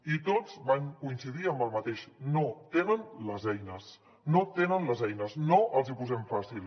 i tots van coincidir en el mateix no tenen les eines no tenen les eines no els hi posem fàcil